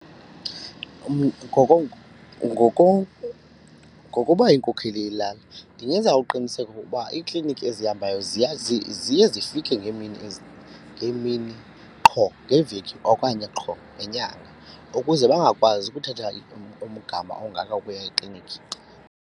Ngokuba inkokheli yelali ndingenza uqiniseko ukuba iiklinikhi ezihambayo ziya ziye zifike ngeemini ngeemini qho ngeveki okanye qho ngenyanga ukuze bangakwazi ukuthatha umgama ongaka ukuya eklinikhi.